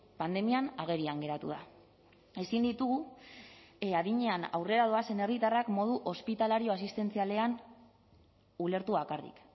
pandemian agerian geratu da ezin ditugu adinean aurrera doazen herritarrak modu hospitalario asistentzialean ulertu bakarrik